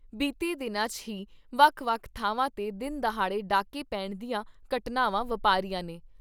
ਬੀਤੇ ਦਿਨਾਂ 'ਚ ਹੀ ਵੱਖ ਵੱਖ ਥਾਵਾਂ 'ਤੇ ਦਿਨ ਦਹਾੜੇ ਡਾਕੇ ਪੈਣ ਦੀਆਂ ਘਟਨਾਵਾਂ ਵਪਾਰੀਆਂ ਨੇ।